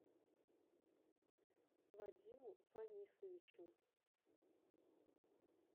вадиму фанисовичу